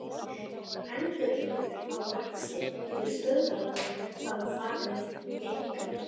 Endurheimtur á laxi til stöðvarinnar hafa farið minnkandi.